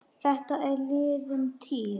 Þetta er liðin tíð.